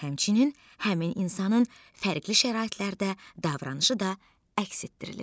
Həmçinin həmin insanın fərqli şəraitlərdə davranışı da əks etdirilir.